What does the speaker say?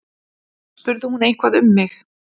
Spurði hún eitthvað um mig?